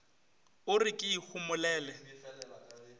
o re ke e homolele